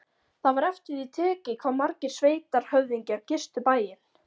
Það var eftir því tekið hvað margir sveitarhöfðingjar gistu bæinn.